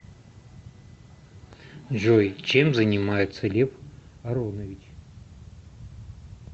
джой чем занимается лев аронович